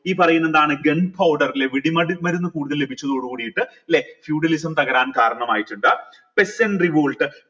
ഈ പറയുന്നതാണ് gun powder ല്ലെ വെടി മരുന്ന് കൂടുതൽ ലഭിച്ചതോട് കൂടിട്ട് ല്ലെ feudalism തകരാൻ കരണമായിട്ടിണ്ട് second revolt